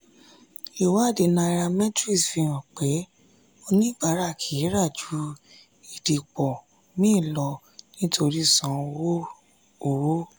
ìwádìí nairametrics fi hàn pé oníbàárà kì í ra ju ìdìpọ̀ mì lọ nítorí san owó. owó.